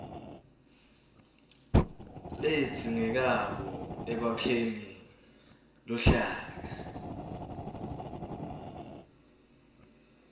ledzingekako ekwakheni luhlaka